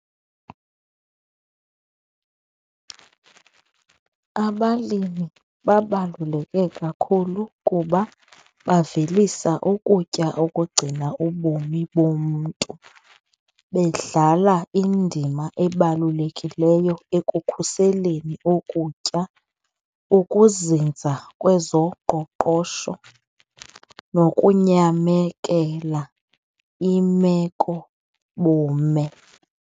Abalimi babaluleke kakhulu kuba bavelisa ukutya okugcina ubomi bomntu bedlala indima ebalulekileyo ekukhuseleni ukutya, ukuzinza kwezoqoqosho nokunyamekela imeko bume.